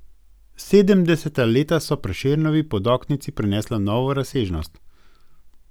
Sedemdeseta leta so Prešernovi podoknici prinesla novo razsežnost.